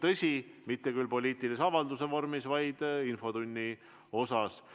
Tõsi, mitte küll poliitilise avaldusega, vaid infotunni vormis.